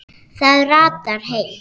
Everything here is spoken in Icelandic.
Það ratar heim.